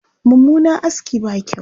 Mummunan aski ba kyau.